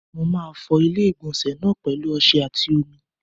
Mo máa fọ ilé-ìgbọ̀nsẹ̀ náà pẹ̀lu ọsẹ àti omi.